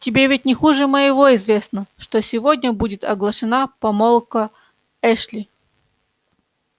тебе ведь не хуже моего известно что сегодня будет оглашена помолвка эшли